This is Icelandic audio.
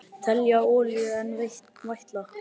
Telja olíu enn vætla